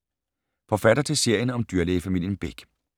- forfatter til serien om dyrlægefamilien Bech.